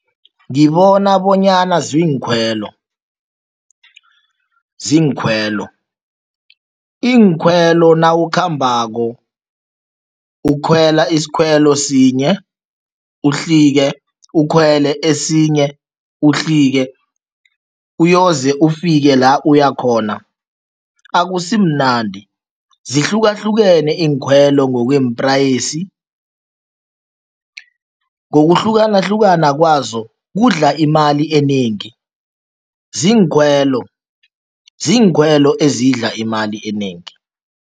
Ngibona bonyana ziinkhwelo ziinkhwelo. Iinkhwelo nawukhambako, ukhwela isikhwelo sinye, uhlike, ukhwele esinye, uhlike, uyoze ufike la uyakhona, akusimnandi. Zihlukahlukene iinkhwelo ngokweemprayisi, ngokuhlukahlukana kwazo, kudla imali enengi. Ziinkhwelo, ziinkhwelo ezidla imali enengi.